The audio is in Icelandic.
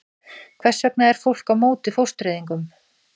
Hvers vegna er fólk á móti fóstureyðingum?